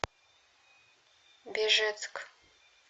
бежецк